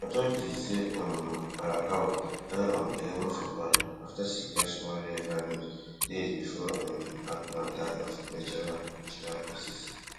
authorities say um arakawa die on eleven february afta she catch one rare virus days bifor um hackman die of natural natural causes